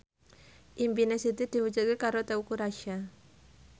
impine Siti diwujudke karo Teuku Rassya